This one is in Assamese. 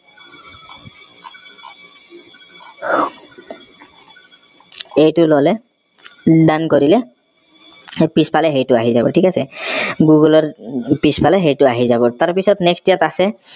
এইটো ললে done কৰিলে সেই পিছফালে সেইটো আহি যাব ঠিক আছে google ৰ পিছফালে সেইটো আহি যাব তাৰ পিছত next ইয়াত আছে